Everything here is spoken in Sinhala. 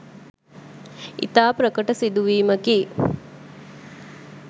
ඉතා ප්‍රකට සිදුවීමකි.